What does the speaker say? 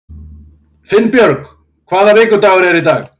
Finnbjörk, hvaða vikudagur er í dag?